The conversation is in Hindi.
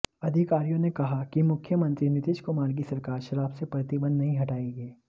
अधिकारियों ने कहा कि मुख्यमंत्री नीतीश कुमार की सरकार शराब से प्रतिबंध नहीं हटाएगी